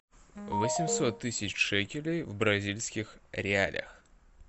восемьсот тысяч шекелей в бразильских реалах